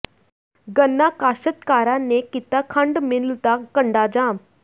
ਗੰਨਾ ਕਾਸ਼ਤਕਾਰਾਂ ਨੇ ਕੀਤਾ ਖੰਡ ਮਿੱਲ ਦਾ ਕੰਡਾ ਜਾਮ